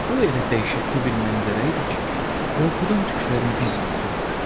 Bu elə dəhşətli bir mənzərə idi ki, qorxudan tüklərin biz-biz durmuşdu.